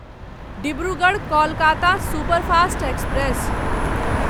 Dibrugarh Kolkata superfast express